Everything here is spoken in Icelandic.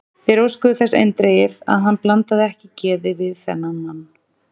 Þeir óskuðu þess eindregið, að hann blandaði ekki geði við þennan mann.